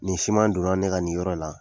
Nin siman don na ne ka nin yɔrɔ la.